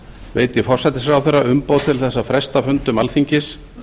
veiti forsætisráðherra umboð til þess að fresta fundum alþingis